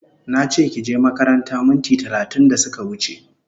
Nache kije makaranta minti talatin da suka wuche